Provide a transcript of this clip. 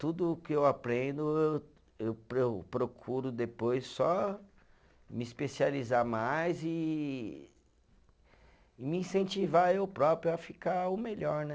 Tudo que eu aprendo, eu eu eu procuro depois só me especializar mais e e me incentivar eu próprio a ficar o melhor né.